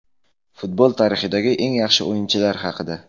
Futbol tarixidagi eng yaxshi o‘yinchilar haqida.